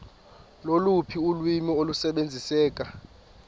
loluphi ulwimi olusebenziseka